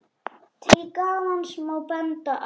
Til gamans má benda á